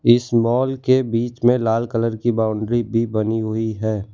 इस मॉल के बीच में लाल कलर की बाउंड्री भी बनी हुई है।